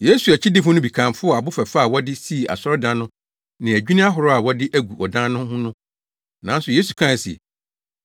Yesu akyidifo no bi kamfoo abo fɛfɛ a wɔde sii asɔredan no ne adwinni ahorow a wɔadi agu ɔdan no ho no. Nanso Yesu kae se,